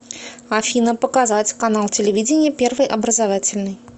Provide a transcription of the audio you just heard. афина показать канал телевидения первый образовательный